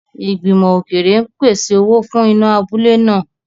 Ìgbìmọ̀ òkèèrè ń pèsè owó fún iná abúlé náà.